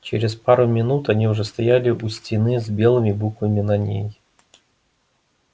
через пару минут они уже стояли у стены с белыми буквами на ней